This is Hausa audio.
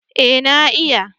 Eh na iya